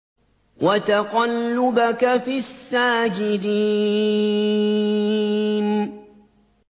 وَتَقَلُّبَكَ فِي السَّاجِدِينَ